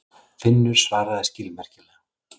Finnur svaraði skilmerkilega.